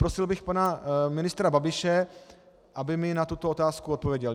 Prosil bych pana ministra Babiše, aby mi na tuto otázku odpověděl.